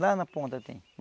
Lá na ponta tem.